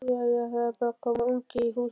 Jæja. það er bara að koma ungi í húsið!